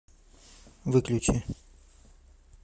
выключи